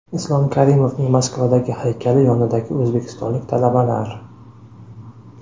Islom Karimovning Moskavadagi haykali yonidagi o‘zbekistonlik talabalar .